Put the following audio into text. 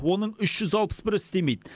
оның үш жүз алпыс бірі істемейді